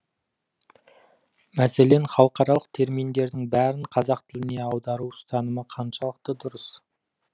мәселен халықаралық терминдердің бәрін қазақ тіліне аудару ұстанымы қаншалықты дұрыс